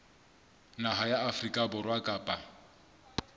naha ya afrika borwa kapa